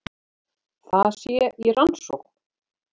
Það sé í rannsókn